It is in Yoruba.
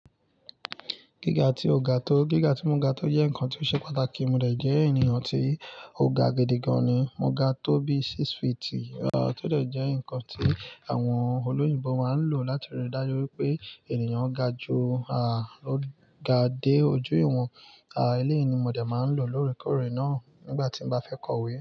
Gíga tí ó ga tó, gíga tí mo ga tó jẹ́ ǹkan tí ó ṣe pàtàkì. Móde jẹ́ ènìyàn tí ó ga gidi gan ni, mo ga tó bí six feet. Aá, tó dẹ̀ jẹ́ ǹkan tí àwọn olóyìnbo máa ń lò láti rí i dájú pé ènìyàn ga ju à á, ó ga dé ojú ìwọ̀n. À, eléyìí ni móde máa ń lò lóòrèkóòrè náà nígbà tí n bá fẹ́ kọ̀wé.